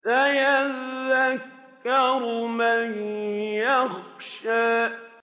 سَيَذَّكَّرُ مَن يَخْشَىٰ